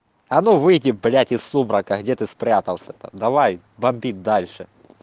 а ну выйди блять из сумрака где ты спрятался там давай бомби дальше